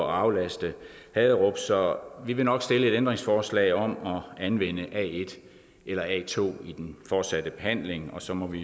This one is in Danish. aflaste haderup så vi vil nok stille et ændringsforslag om at anvende a1 eller a2 i den fortsatte behandling og så må vi